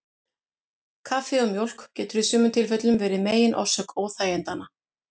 Kaffi og mjólk getur í sumum tilfellum verið megin orsök óþægindanna.